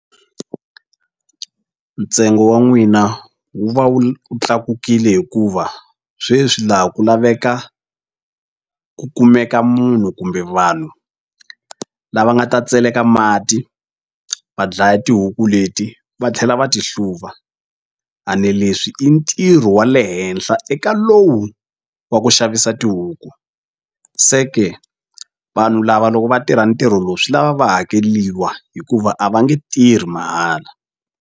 Ntsengo wa n'wina wu va wu tlakukile hikuva sweswi laha ku laveka ku kumeka munhu kumbe vanhu lava nga ta tseleka mati va dlaya tihuku leti va tlhela va ti hluva a ne leswi i ntirho wa le henhla eka lowu wa ku xavisa tihuku se ke vanhu lava loko va tirha ntirho lowu swi lava va hakeliwa hikuva a va nge tirhi mahala.